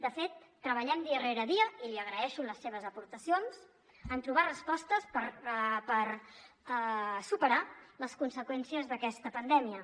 de fet treballem dia rere dia i li agraeixo les seves aportacions en trobar respostes per superar les conseqüències d’aquesta pandèmia